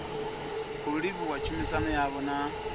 khou livhuwa tshumisano yavho na